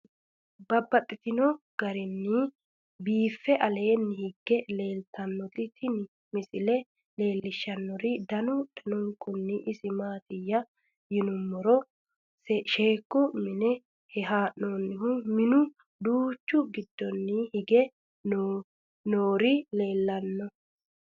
Babaxxittinno garinni biiffe aleenni hige leelittannotti tinni misile lelishshanori danu danunkunni isi maattiya yinummoro sheeku mine hee'noonnihu minnu danchu giddonni hige noori leelittanno